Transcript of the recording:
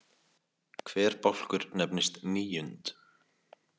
Hver bálkur nefnist „níund“.